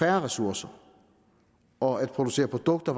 af ressourcer og at producere produkter